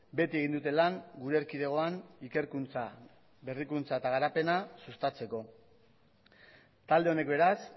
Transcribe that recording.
beti egin dute lan gure erkidegoan ikerkuntza berrikuntza eta garapena sustatzeko talde honek beraz